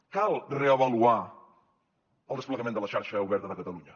cal reavaluar el desplegament de la xarxa oberta de catalunya